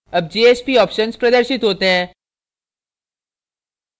अब jsp option प्रदर्शित होते हैं